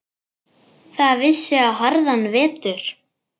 Það vissi á harðan vetur.